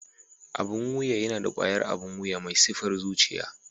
Abun wuya yana da ƙwayar abun wuya mai sifar zuciya.